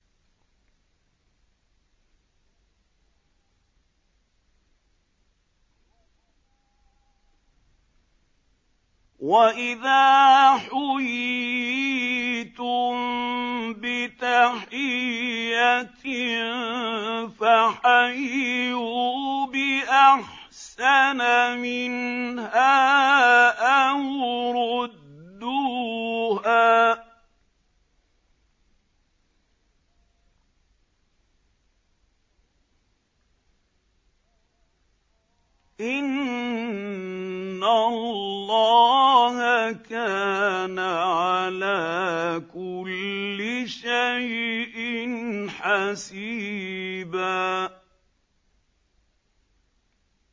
وَإِذَا حُيِّيتُم بِتَحِيَّةٍ فَحَيُّوا بِأَحْسَنَ مِنْهَا أَوْ رُدُّوهَا ۗ إِنَّ اللَّهَ كَانَ عَلَىٰ كُلِّ شَيْءٍ حَسِيبًا